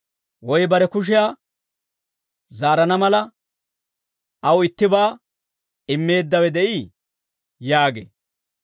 Woy bare kushiyaa zaarana mala, aw ittibaa immeeddawe de'ii?» yaagee.